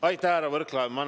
Aitäh, härra Võrklaev!